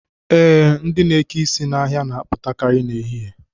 Ee, ndị na-eke isi n'ahịa na-apụtakarị n'ehihie